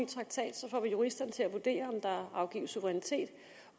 traktat får vi juristerne til at vurdere om der afgives suverænitet